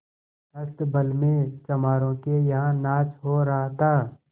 अस्तबल में चमारों के यहाँ नाच हो रहा था